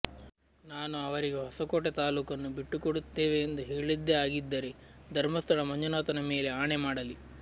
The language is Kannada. ನಾನು ಅವರಿಗೆ ಹೊಸಕೋಟೆ ತಾಲೂಕನ್ನು ಬಿಟ್ಟುಕೊಡುತ್ತೇವೆ ಎಂದು ಹೇಳಿದ್ದೇ ಆಗಿದ್ದರೆ ಧರ್ಮಸ್ಥಳ ಮಂಜುನಾಥನ ಮೇಲೆ ಆಣೆ ಮಾಡಲಿ